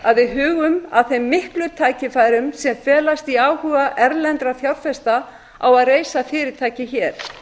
að við hugum að þeim miklu tækifærum sem felast í áhuga erlendra fjárfesta á að reisa fyrirtæki hér